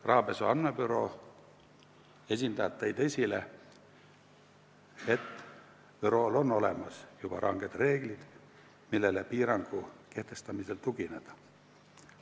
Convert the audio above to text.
Rahapesu andmebüroo esindajad tõid esile, et bürool on juba olemas ranged reeglid, millele piirangu kehtestamisel saab tugineda.